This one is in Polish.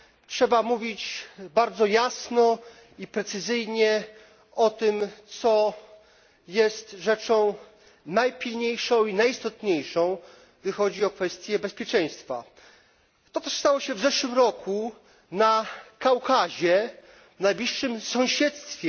Trzeba mówić bardzo jasno i precyzyjnie o tym, co jest rzeczą najpilniejszą i najistotniejszą, gdy chodzi o kwestie bezpieczeństwa. To, co stało się w zeszłym roku na Kaukazie, w najbliższym sąsiedztwie